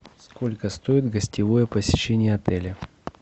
сколько стоит гостевое посещение отеля